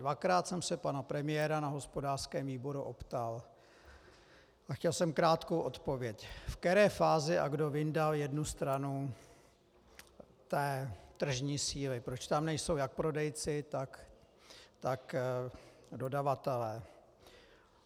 Dvakrát jsem se pana premiéra na hospodářském výboru optal a chtěl jsem krátkou odpověď, ve které fázi a kdo vyndal jednu stranu té tržní síly, proč tam nejsou jak prodejci, tak dodavatelé.